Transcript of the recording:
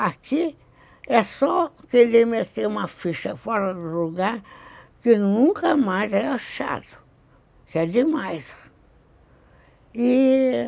Aqui é só querer meter uma ficha fora do lugar que nunca mais é achado, que é demais e